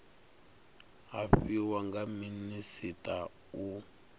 a fhiwa nga minisita u